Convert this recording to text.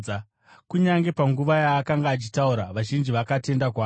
Kunyange panguva yaakanga achitaura, vazhinji vakatenda kwaari.